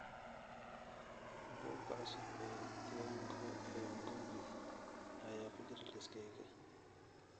Buuga cusub ee Thiongo ee Ngugi ayaa ku jira liiskayga